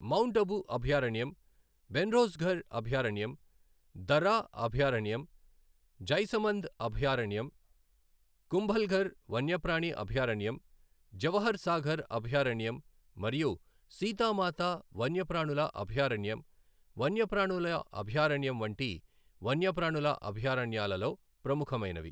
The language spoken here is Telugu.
మౌంట్ అబూ అభయారణ్యం, భెన్స్రోడ్గర్హ్ అభయారణ్యం, దర్రా అభయారణ్యం, జైసమంద్ అభయారణ్యం, కుంభల్ఘర్ వన్యప్రాణి అభయారణ్యం, జవహర్ సాగర్ అభయారణ్యం మరియు సీతా మాతా వన్యప్రాణుల అభయారణ్యం వన్యప్రాణుల అభయారణ్యం వంటి వన్యప్రాణుల అభయారణ్యాలలో ప్రముఖమైనవి.